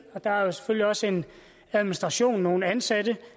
og der er selvfølgelig også en administration med nogle ansatte